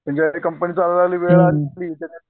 म्हणजे कंपनी चालू झाली